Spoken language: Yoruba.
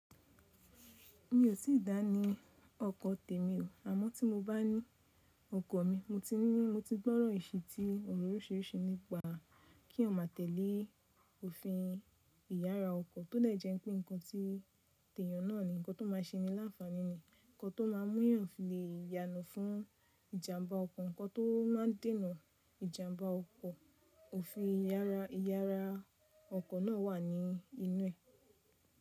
Mi ò tíì dá ní ọkọ̀ tèmi o. Àmọ́ tí mo bá ní ọkọ̀ mi, mo ti ní mo ti gbọ́rọ̀ ìsití ọ̀rọ̀ oríṣiiríṣii nípa kí eeyan má tẹ́lẹ̀ òfin ìyára ọkọ̀ tó dè jẹ wipé nǹkan tí tẹ̀yàn náà ni nǹkan tó máa ṣe mi láǹfààní, nǹkan tó máa mú eeyan filẹ̀ yana fún ìjàmbá ọkọ̀, nǹkan tó máa dènà ìjàmbá ọkọ̀. Òfin ìyára ìyára ọkọ̀ náà wà ní inú ẹ̀.